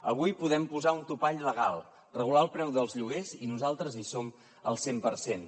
avui podem posar un topall legal regular el preu dels lloguers i nosaltres hi som al cent per cent